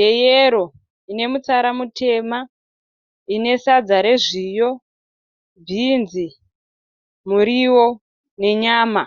yeyero ine mutsara mutema ine sadza rezviyo, bhinzi, muriwo nenyama.